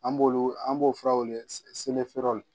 An b'olu an b'o fura wele